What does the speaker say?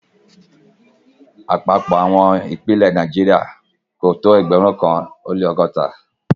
Àpapọ̀ àwọn ìpínlẹ̀ ní Nàìjíríà kò tó ẹgbẹ̀rún kan ó lẹ́ ọgọ́ta ó lẹ́ ọgọ́ta.